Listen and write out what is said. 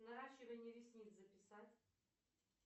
наращивание ресниц записать